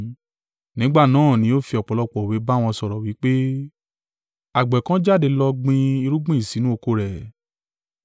Nígbà náà ni ó fi ọ̀pọ̀lọpọ̀ òwe bá wọn sọ̀rọ̀, wí pé, “Àgbẹ̀ kan jáde lọ gbin irúgbìn sínú oko rẹ̀.